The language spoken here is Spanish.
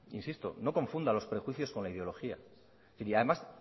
insisto no confunda los prejuicios con la ideología y además